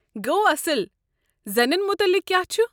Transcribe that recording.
گوٚو اصٕل۔ زنٮ۪ن متعلق کیٛاہ چھُ؟